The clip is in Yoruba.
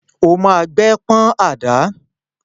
Ó ma gbẹ́ pọ́n àdá!